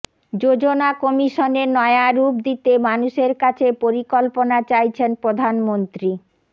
যোজনা কমিশনের নয়া রূপ দিতে মানুষের কাছে পরিকল্পনা চাইছেন প্রধানমন্ত্রী